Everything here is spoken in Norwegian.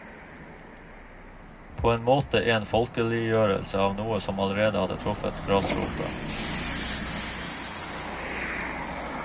På en måte en folkeliggjørelse av noe som allerede hadde truffet grasrota.